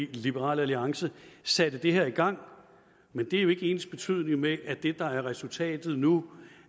og liberal alliance satte det her i gang men det er jo ikke ensbetydende med at det der er resultatet nu